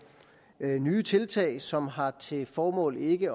nye tiltag som har til formål ikke